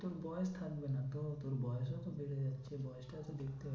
তোর বয়স থাকবে না তো তোর বয়স ও তো বেড়ে যাচ্ছে বয়সটা তো দেখতে হবে।